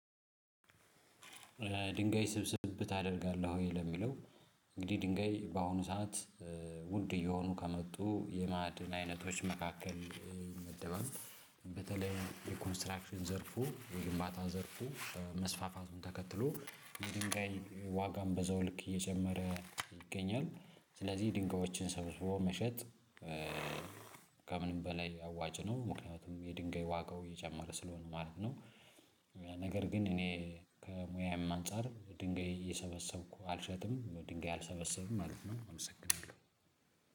ድንጋይ ስብስብ ታደርጋለህ ወይ ለሚለው? እንግዲህ ድንጋይ በአሁኑ ሰዓት ውድ እየሆኑ ከመጡ የማዕድን አይነቶች መካከል መደባበብ በተለይ የኮንስትራክሽን ዘርፉ የግንባታ ዘርፉ መስፋፋቱን ተከትሎ የድንጋይ ዋጋም በዛው ልክ እየጨመረ ይገኛል። ስለዚህ ድንጋዮችን ሰብስቦ መሸጥ ከምንም በላይ አዋጭ ነው ምክንያቱም የድንጋይ ዋጋው የጀመረ ስለሆነ ማለት ነው። ነገር ግን እኔ ከሙያዬም አንፃር ድንጋይ እየሰበሰብኩ አልሸጥምም ድንጋይ አልሰበሰብም ማለት ነው። አመሰግናለሁ።